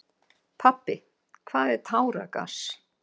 Pabbi, hvað er táragas?